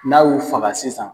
N'a y'o faga sisan